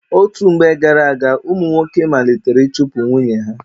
Otú mgbe gara-aga, ụmụ nwoke malitere ịchụpu nwunye ha.